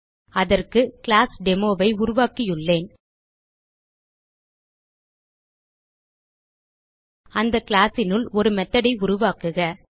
அதற்கு கிளாஸ் Demoஐ உருவாக்கியுள்ளேன் அந்த classனுள் ஒரு methodஐ உருவாக்குக